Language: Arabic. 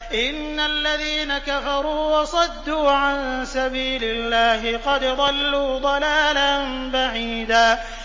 إِنَّ الَّذِينَ كَفَرُوا وَصَدُّوا عَن سَبِيلِ اللَّهِ قَدْ ضَلُّوا ضَلَالًا بَعِيدًا